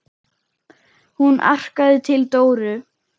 Hún arkaði til Dóru.